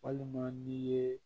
Walima n'i ye